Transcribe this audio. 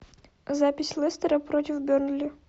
запись лестера против бернли